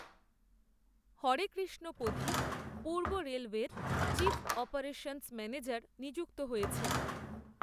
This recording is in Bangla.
হরে কৃষ্ণ পধি পূর্ব রেলওয়ের চিফ অপারেশন্স ম্যানেজার নিযুক্ত হয়েছেন